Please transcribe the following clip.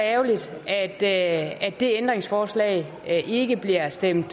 ærgerligt at det ændringsforslag ikke bliver stemt